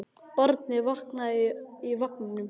Barnið vaknaði í vagninum.